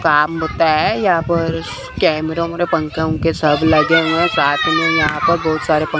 काम होता है यहा पर कैमरा वैमरा पंखे वंखे सब लगे हुए हैं साथ मे यहा पर बहुत सारे--